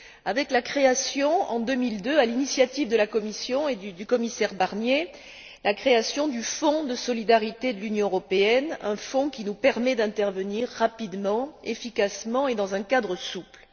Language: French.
avec la création en 2002, à l'initiative de la Commission et du commissaire Barnier, du Fonds de solidarité de l'Union européenne, un fonds qui nous permet d'intervenir rapidement, efficacement et dans un cadre souple.